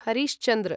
हरिश् चन्द्र